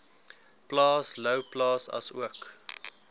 plaas louwplaas asook